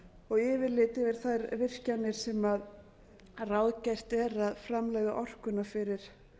og yfirlit yfir þær virkjanir sem ráðgert er að framleiða orkuna fyrir